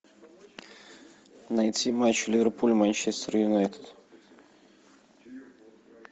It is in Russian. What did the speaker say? найти матч ливерпуль манчестер юнайтед